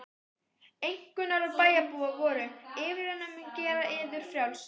Einkunnarorð bæjarbúa voru: yfirvinnan mun gera yður frjálsa.